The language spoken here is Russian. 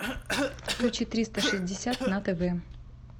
включи триста шестьдесят на тв